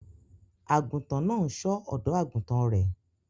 Àgùntàn náà ń ṣọ́ ọ̀dọ́-àgùntàn rẹ̀